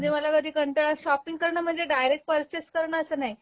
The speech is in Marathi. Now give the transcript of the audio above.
म्हणजे मला कधी कंटाळा शॉपिंग करण म्हणजे डायरेक्ट परचेस करण असं नाही